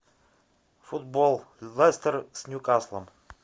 футбол лестер с ньюкаслом